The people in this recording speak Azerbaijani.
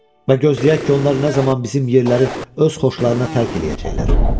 Və gözləyək ki, onlar nə zaman bizim yerləri öz xoşlarına tərk eləyəcəklər.